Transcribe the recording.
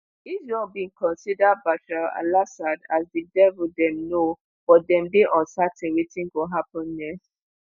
israel bin consider bashar al-assad as "di devil dem know" but dem dey uncertain wetin go happun next.